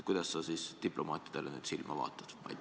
Kuidas sa diplomaatidele nüüd silma vaatad?